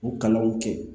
U kalanw kɛ